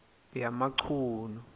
yamachunu